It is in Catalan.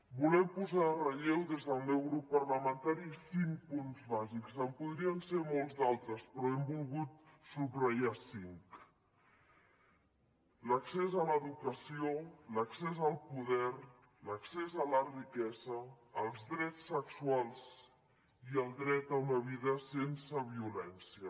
volen posar en relleu des del meu grup parlamentari cinc punts basics en podrien ser molts d’altres però n’hem volgut subratllar cinc l’accés a l’educació l’accés al poder l’accés a la riquesa els drets sexuals i el dret a una vida sense violència